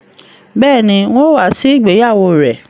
Bẹ́ẹ̀ni, n ó wá sí ìgbéyàwó rẹ